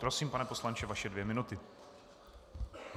Prosím, pane poslanče, vaše dvě minuty.